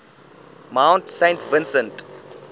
mount saint vincent